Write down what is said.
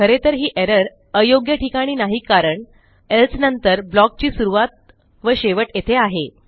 खरे तर ही एरर अयोग्य ठिकाणी नाही कारण एल्से नंतर blockची सुरूवात व शेवट येथे आहे